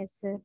Yes sir.